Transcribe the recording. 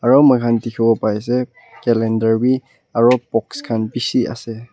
aro moikhan dikhiwo pai ase calender wi aro box khan bishi ase.